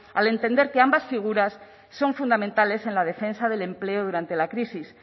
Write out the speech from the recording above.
al entender que ambas figuras son fundamentales en la defensa del empleo durante la crisis